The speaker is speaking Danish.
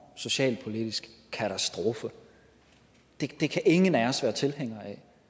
socialpolitisk katastrofe det kan ingen af os være tilhænger